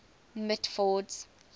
mitford's